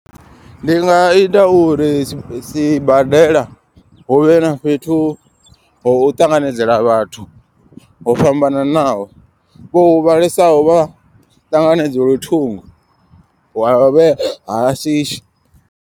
Ndi nga ita uri sibadela huvhe na fhethu ho ṱanganedzela vhathu. Ho fhambananaho vho huvhalesaho vha ṱanganedzelwe thungo wa vhe ha shishi.